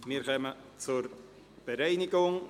Wir kommen zur Bereinigung.